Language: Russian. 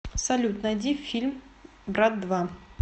салют найди фильм брат два